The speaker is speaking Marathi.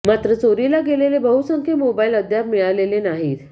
मात्र चोरीला गेलेले बहुसंख्य मोबाईल अद्याप मिळालेले नाहीत